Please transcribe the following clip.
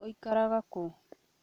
Ũikaraga kũ?